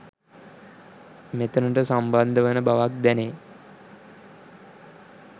මෙතනට සම්බන්ධ වන බවක් දැනේ.